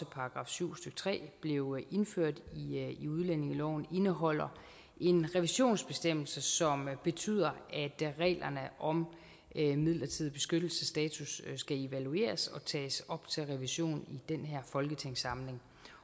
§ syv stykke tre blev indført i udlændingeloven indeholder en revisionsbestemmelse som betyder at reglerne om midlertidig beskyttelsesstatus skal evalueres og tages op til revision i den her folketingssamling